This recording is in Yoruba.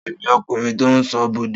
Ta ni ọkùnrin tó ń ṣọ́ Bọ̀dé?